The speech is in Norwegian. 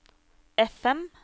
FM